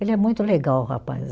Ele é muito legal, o rapaz.